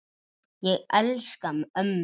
Ég elska ömmu.